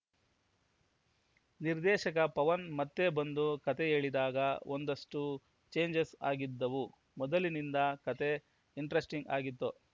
ನಿರ್ದೇಶಕ ಪವನ್‌ ಮತ್ತೆ ಬಂದು ಕತೆ ಹೇಳಿದಾಗ ಒಂದಷ್ಟುಚೇಂಜಸ್‌ ಆಗಿದ್ದವು ಮೊದಲಿಗಿಂತ ಕತೆ ಇಂಟರೆಸ್ಟಿಂಗ್‌ ಆಗಿತ್ತು